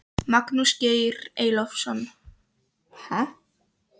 Magnús Geir Eyjólfsson: Stoltur af pabba?